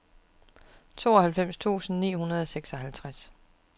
tooghalvfems tusind ni hundrede og seksoghalvtreds